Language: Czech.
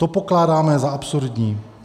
To pokládáme za absurdní.